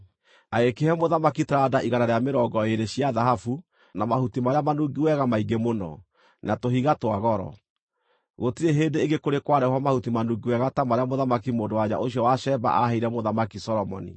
Agĩkĩhe mũthamaki taranda igana rĩa mĩrongo ĩĩrĩ, cia thahabu, na mahuti marĩa manungi wega maingĩ mũno, na tũhiga twa goro. Gũtirĩ hĩndĩ ĩngĩ kũrĩ kwarehwo mahuti manungi wega ta marĩa Mũthamaki mũndũ-wa-nja ũcio wa Sheba aaheire Mũthamaki Solomoni.